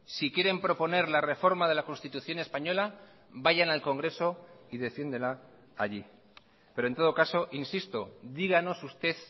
si quieren proponer la reforma de la constitución española vayan al congreso y defiéndela allí pero en todo caso insisto díganos usted